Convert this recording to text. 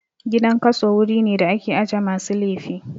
Gidan kaso wuri ne da ake aje masu laifi